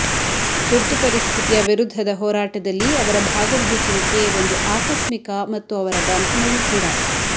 ತುರ್ತುಪರಿಸ್ಥಿತಿಯ ವಿರುದ್ಧದ ಹೋರಾಟದಲ್ಲಿ ಅವರ ಭಾಗವಹಿಸುವಿಕೆ ಒಂದು ಆಕಸ್ಮಿಕ ಮತ್ತು ಅವರ ಬಂಧನವೂ ಕೂಡ